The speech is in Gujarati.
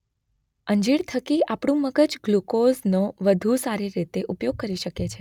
અંજીર થકી આપણું મગજ ગ્લુકોઝનો વધુ સારી રીતે ઉપયોગ કરી શકે છે.